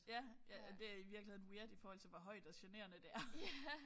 Ja ja det er i virkeligheden weird i forhold til hvor højt og generende det er